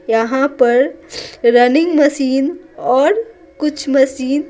यहाँ पर running machine और कुछ मशीन --